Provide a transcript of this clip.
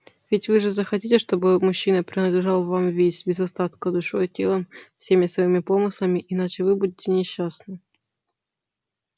ведь вы же захотите чтобы мужчина принадлежал вам весь без остатка душой и телом всеми своими помыслами иначе вы будете несчастны